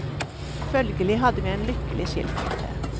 Følgelig hadde vi en lykkelig skilsmisse.